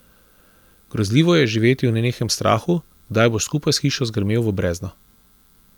Grozljivo je živeti v nenehnem strahu, kdaj boš skupaj s hišo zgrmel v brezno.